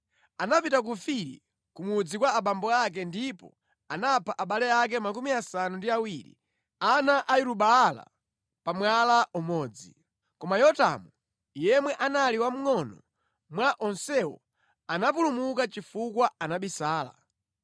Anapita ku Ofiri ku mudzi kwa abambo ake ndipo anapha abale ake makumi asanu ndi awiri, ana a Yeru-Baala pa mwala umodzi. Koma Yotamu yemwe anali wamngʼono mwa onsewo anapulumuka chifukwa anabisala.